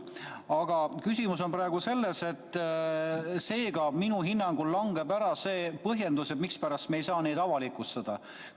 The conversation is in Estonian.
Seega, küsimus on praegu selles, et minu hinnangul langeb ära see põhjendus, mispärast me ei saa neid avalikustada.